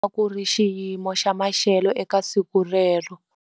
A ku ri xiyimo xa maxelo eka siku relero.